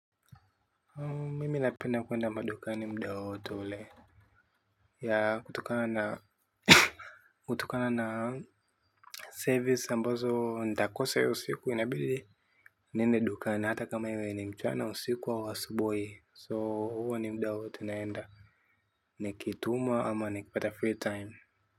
Mimi napenda kuenda madukani mda wowote ule. Ya kutokana na kutokana na service ambazo ndakose hiyo siku inabidi niende dukani hata kama iwe ni mchana au usiku au asubui so huwa ni mda wote naenda. Nikitumwa ama nikipata free time.